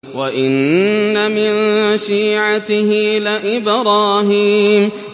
۞ وَإِنَّ مِن شِيعَتِهِ لَإِبْرَاهِيمَ